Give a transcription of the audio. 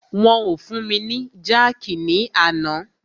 Wọn o fún mi ni jákìí ní àná.